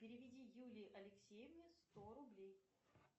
переведи юлии алексеевне сто рублей